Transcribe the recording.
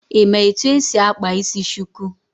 Ị ma etu esi akpa isi shuku?